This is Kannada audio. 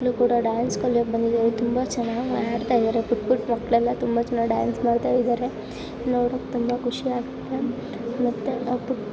ಮಕ್ಕ್ಳು ಕೂಡ ಡ್ಯಾನ್ಸ್ ಕಲಿಯೋಕ್ ಬಂದಿದ್ದಾರೆ ತುಂಬಾ ಚೆನ್ನಾಗ್ ಮಾಡ್ತಾ ಇದ್ದಾರೆ ಪುಟ್ ಪುಟ್ ಮಕ್ಳೆಲ್ಲ ತುಂಬಾ ಚೆನ್ನಾಗ್ ಡ್ಯಾನ್ಸ್ ಮಾಡ್ತಾ ಇದ್ದಾರೆ. ನೋಡಕ್ ತುಂಬಾ ಖುಷಿಯಾಗುತ್ತೆ ಮತ್ತೆ --